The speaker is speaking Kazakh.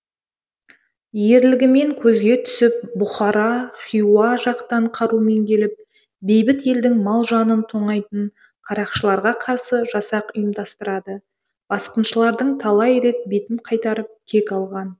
ерлігімен көзге түсіп бұхара хиуа жақтан қарумен келіп бейбіт елдің мал жанын тонайтын қарақшыларға қарсы жасақ ұйымдастырады басқыншылардың талай рет бетін қайтарып кек алған